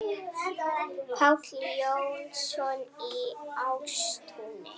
Páll Jónsson í Ástúni